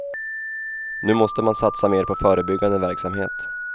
Nu måste man satsa mer på förebyggande verksamhet.